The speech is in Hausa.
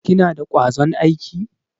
Kina da kwazon aiki?